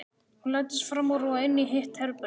Hún læddist fram úr og inn í hitt herbergið.